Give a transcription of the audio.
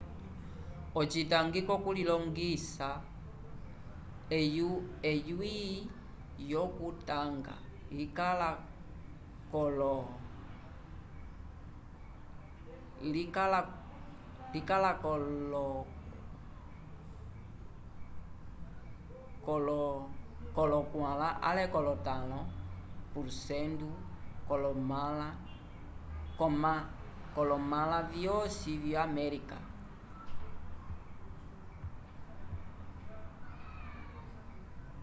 ocitangi ko co ku lilongisa eyui yo ku tanga yikala kolo 4 ale kolo 5 porcento kolomala vosi yo america